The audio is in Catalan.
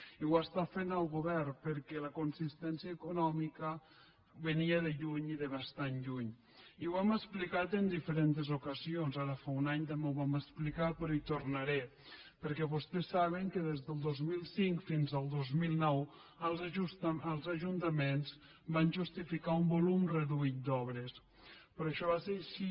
i ho està fent el govern per·què la inconsistència econòmica venia de lluny i de bastant lluny i ho hem explicat en diferents ocasions ara fa un any també ho vam explicar però hi tornaré perquè vostès saben que des del dos mil cinc fins al dos mil nou els ajuntaments van justificar un volum reduït d’obres pe·rò això va ser així